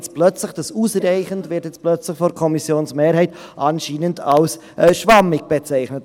Jetzt plötzlich aber wird das «ausreichend» von der Kommissionsmehrheit anscheinend als schwammig bezeichnet.